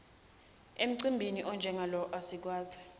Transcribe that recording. emcimbini onjengalona asikwazi